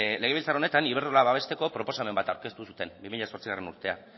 legebiltzar honetan iberdrola babesteko proposamen bat aurkeztu zuten bi mila zortzigarrena urtea